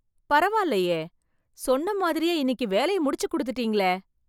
பரவால்லையே சொன்ன மாதிரியே இன்னிக்கு வேலைய முடிச்சு குடுத்துட்டீங்களே